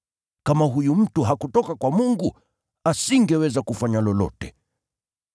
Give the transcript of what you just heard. Kama huyu mtu hakutoka kwa Mungu, asingeweza kufanya lolote.”